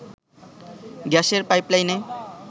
গ্যাসের পাইপলাইনে